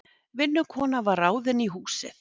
Vinnukona var ráðin í húsið.